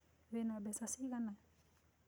Wĩna mbeca cigana?